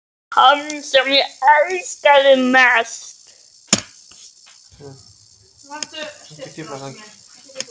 Hann sem ég elskaði mest.